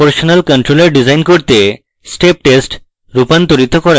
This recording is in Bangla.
proportional controller ডিজাইন করতে step test রূপান্তরিত করা